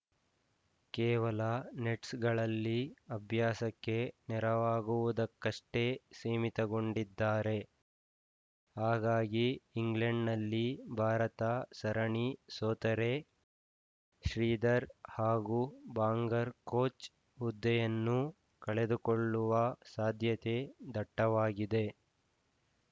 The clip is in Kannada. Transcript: ಕೇವಲ ನೆಟ್ಸ್‌ಗಳಲ್ಲಿ ಅಭ್ಯಾಸಕ್ಕೆ ನೆರವಾಗುವುದಕ್ಕಷ್ಟೇ ಸೀಮಿತಗೊಂಡಿದ್ದಾರೆ ಹಾಗಾಗಿ ಇಂಗ್ಲೆಂಡ್‌ನಲ್ಲಿ ಭಾರತ ಸರಣಿ ಸೋತರೆ ಶ್ರೀಧರ್‌ ಹಾಗೂ ಬಾಂಗರ್‌ ಕೋಚ್‌ ಹುದ್ದೆಯನ್ನು ಕಳೆದುಕೊಳ್ಳುವ ಸಾಧ್ಯತೆ ದಟ್ಟವಾಗಿದೆ